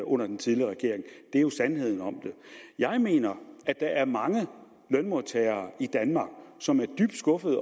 under den tidligere regering det er jo sandheden om det jeg mener at der er mange lønmodtagere i danmark som er dybt skuffede